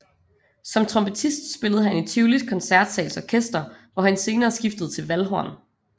Som trompetist spillede han i Tivolis Koncertsals Orkester hvor han senere skiftede til valdhorn